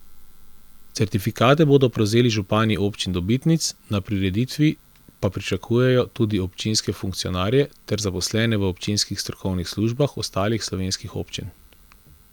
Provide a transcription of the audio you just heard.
Certifikate bodo prevzeli župani občin dobitnic, na prireditvi pa pričakujejo tudi občinske funkcionarje ter zaposlene v občinskih strokovnih službah ostalih slovenskih občin.